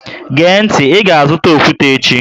Gee ntị, Ị ga azụta okwute echi!